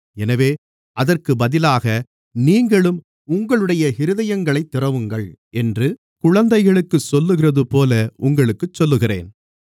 எனவே அதற்குப் பதிலாக நீங்களும் உங்களுடைய இருதயங்களைத் திறவுங்கள் என்று குழந்தைகளுக்குச் சொல்லுகிறதுபோல உங்களுக்குச் சொல்லுகிறேன்